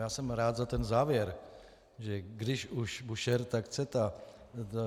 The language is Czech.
Já jsem rád za ten závěr, že když už Búšehr, tak CETA.